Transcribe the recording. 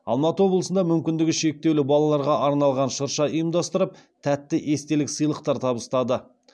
алматы облысында мүмкіндігі шектеулі балаларға арналған шырша ұйымдастырып тәтті естелік сыйлықтар табыстады